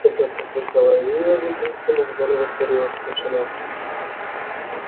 когда прозвучало её имя а затем сумма в зале воцарилась тишина